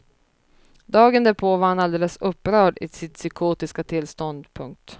Dagen därpå var han alldeles upprörd i sitt psykotiska tillstånd. punkt